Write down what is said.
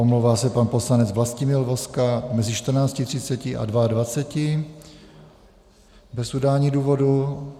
Omlouvá se pan poslanec Vlastimil Vozka mezi 14.30 a 22.00 bez udání důvodu.